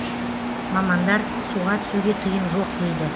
мамандар суға түсуге тыйым жоқ дейді